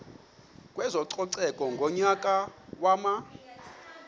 kwezococeko ngonyaka wama